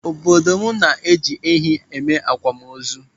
Obodo m na-eji ehi eme akwamozu.